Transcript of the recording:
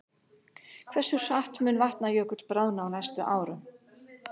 Hversu hratt mun Vatnajökull bráðna á næstu árum?